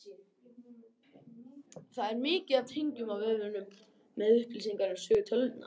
Þar er mikið af tengingum á vefsíður með upplýsingum um sögu tölvunnar.